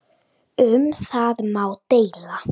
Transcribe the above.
Um það má deila.